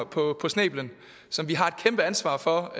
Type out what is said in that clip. på snæblen som vi har et kæmpe ansvar for